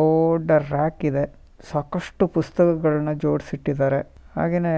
ದೊಡ್ಡ ರ್ಯಾಕಿದೆ ಸಾಕಷ್ಟು ಪುಸ್ತಕಗಳನ್ನು ಜೋಡಿಸಿ ಇಟ್ಟಿದ್ದಾರೆ ಹಾಗೇನೆ